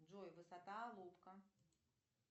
джой высота алупка